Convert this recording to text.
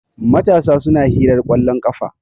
matasa suna hirar kwallon kafa